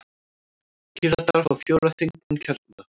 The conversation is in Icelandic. Píratar fá fjóra þingmenn kjörna.